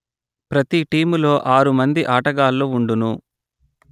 ప్రతి టీములో ఆరు మంది ఆటగాళ్ళు వుండును